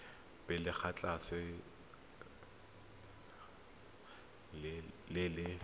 pele ga letlha le le